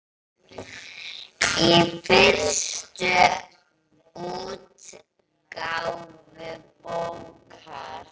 Í fyrstu útgáfu bókar